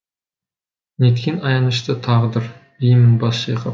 неткен аянышты тағдыр деймін бас шайқап